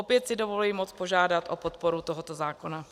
Opět si dovoluji moc požádat o podporu tohoto zákona.